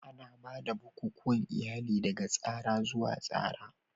Ana ba da bukukuwan iyali daga tsara zuwa tsara.